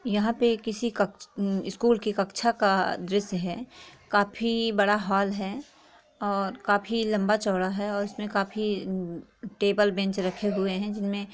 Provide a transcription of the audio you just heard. यहाँ पे किसी क स्कूल की कक्षा का दृश्य हैं काफ़ी बड़ा हाॅल हैं और काफी लंबा चौड़ा हैं और इसमे काफी टेबल बेंच रखे हुए हैं जिनमे--